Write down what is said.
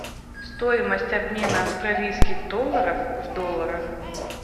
стоимость обмена австралийских долларов в долларах